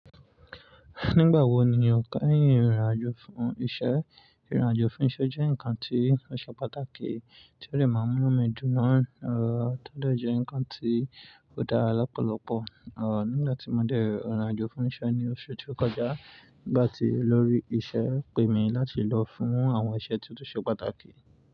Nígbà wo ni o kẹ́yìn ìrìn àjò fún iṣẹ́? Ìrìn àjò fún iṣẹ́ jẹ́ ǹkan tí ó ṣe pàtàkì tí ó dẹ̀ máa mú inú mi dùn mọ́ ẹ̀, tó Dẹ̀jẹ̀ ǹkan tí ò dára lọ́pọ̀lọpọ̀. Ọ̀, nígbà tí mo dè ìrìn àjò fún iṣẹ́ ní oṣù tí ó kọjá, ìgbà tí olórí ìṣe pè mi láti lọ fún àwọn iṣẹ́ tí ó ṣe pàtàkì.